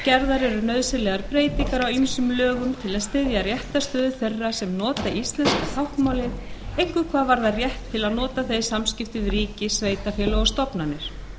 eru nauðsynlegar breytingar á ýmsum lögum til að styðja réttarstöðu þeirra sem nota íslenska táknmálið einkum hvað varðar rétt til að nota það í samskiptum við ríki sveitarfélög og stofnanir